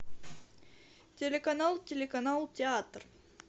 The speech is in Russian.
телеканал телеканал театр